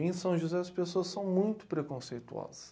Em São José, as pessoas são muito preconceituosas.